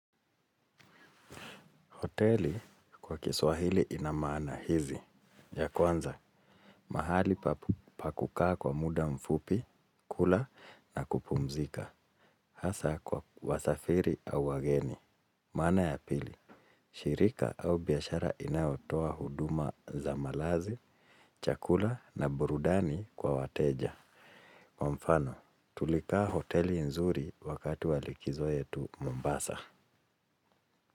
Hoteli kwa kiswahili ina maana hizi. Ya kwanza, mahali pakukaa kwa muda mfupi, kula na kupumzika. Hasa kwa wasafiri au wageni. Maana ya pili, shirika au biashara inayotoa huduma za malazi, chakula na burudani kwa wateja. Kwa mfano, tulikaa hoteli nzuri wakati walikizo yetu Mombasa.